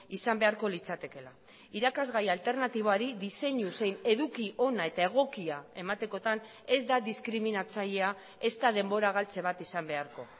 izan beharko litzatekeela irakasgai alternatiboari diseinu zein eduki ona eta egokia ematekotan ez da diskriminatzailea ezta denbora galtze bat izan beharko